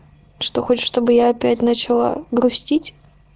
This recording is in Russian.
что хочешь чтобы я опять начала грустить